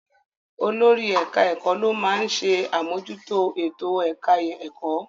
Olórí ẹ̀ka-ẹ̀kọ́ ló máa ń ṣe àmójútó ètò-ẹ̀ka ẹ̀kọ́.